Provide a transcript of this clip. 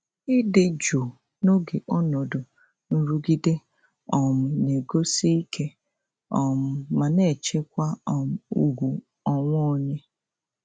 Ịdị jụụ n'oge ọnọdụ nrụgide um na-egosi ike um ma na-echekwa um ùgwù onwe onye.